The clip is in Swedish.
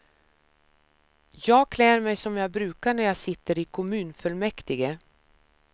Jag klär mig som jag brukar när jag sitter i kommunfullmäktige.